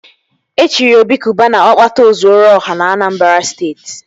E chiri Obi Cubana Ọkpata ọ zuoru ọha na Anambra Steeti